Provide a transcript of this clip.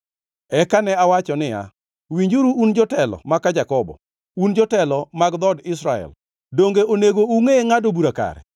Eka ne awacho niya, “Winjuru un jotelo maka Jakobo, un jotelo mag dhood Israel. Donge onego ungʼe ngʼado bura kare.